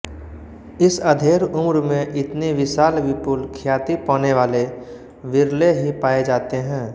इस अधेड़ उम्र में इतनी विशाल विपुल ख्याति पानेवाले विरले ही पाये जाते हैं